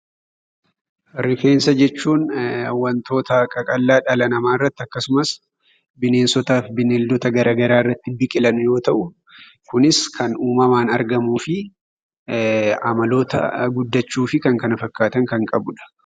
Rifeensa jechuun wantoota qaqallaa dhala namaarratti akkasumas bineensotaaf bineeldota garaa garaarratti biqilan yoo ta'u kunis kan uumamaan argamuu fi amaloota guddachuu fi kan kana fakkaatan kan qabudha.